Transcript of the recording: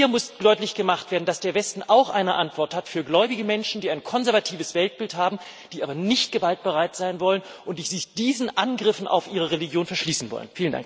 Hier muss deutlich gemacht werden, dass der Westen auch eine Antwort hat für gläubige Menschen, die ein konservatives Weltbild haben, die aber nicht gewaltbereit sein wollen und die sich diesen Angriffen auf ihre Religion verschließen wollen.